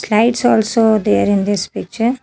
Slides also there in this picture.